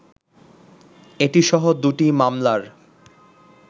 এটি সহ দু’টি মামলার